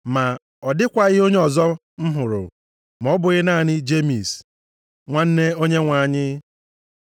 Ma ọ dịkwaghị onyeozi ọzọ m hụrụ, ma ọ bụghị naanị Jemis, nwanne Onyenwe anyị.